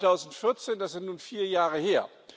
2014 das ist nun vier Jahre her!